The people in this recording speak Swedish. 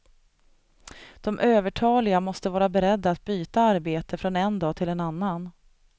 De övertaliga måste vara beredda att byta arbete från en dag till en annan.